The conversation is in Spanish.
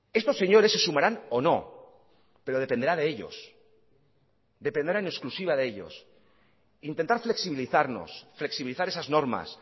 estos señores se sumarán o no pero dependerá de ellos dependerá en exclusiva de ellos intentar flexibilizarnos flexibilizar esas normas